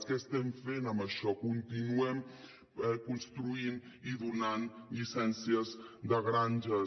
què estem fent amb això continuem construint i donant llicències de granges